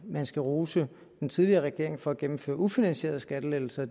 man skal rose den tidligere regering for at gennemføre ufinansierede skattelettelser